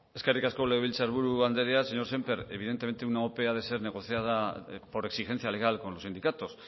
eskerrik asko legebiltzar buru andrea señor sémper evidentemente una ope ha de ser negociada por exigencia legal con los sindicatos